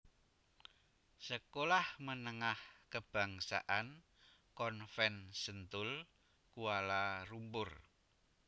Sekolah Menengah Kebangsaan Convent Sentul Kuala Lumpur